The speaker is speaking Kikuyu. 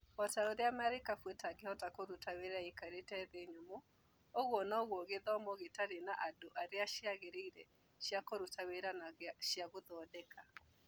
O ta ũrĩa marikabu ĩtangĩhota kũruta wĩra ĩikarĩte thĩ nyũmũ, ũguo noguo gĩthomo gĩtarĩ na andũ aria ciagĩrĩire cia kũruta wĩra na cia gũthondeka.